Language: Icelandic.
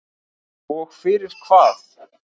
Og fyrir hvað?